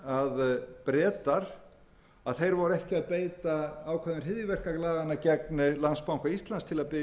ekki að beita ákvæðum hryðjuverkalaganna gegn landsbanka íslands til